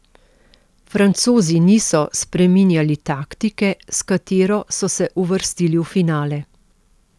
Francozi niso spreminjali taktike, s katero so se uvrstili v finale.